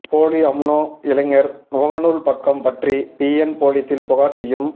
போலி அம்னோ இளைஞர் முகநூல் பக்கம் பற்றி பிஎன் போலீசில் புகார் செய்யும்